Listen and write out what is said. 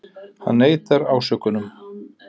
Hann neitar ásökunum